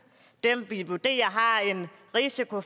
dem vi vurderer har en risiko